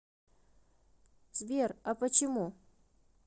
сбер а почему